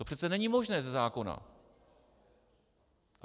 To přece není možné ze zákona.